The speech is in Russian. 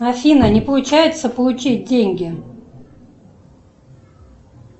афина не получается получить деньги